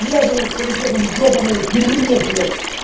связано с политехом ебаное дерьмо блять